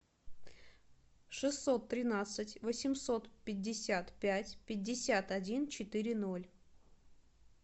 шестьсот тринадцать восемьсот пятьдесят пять пятьдесят один четыре ноль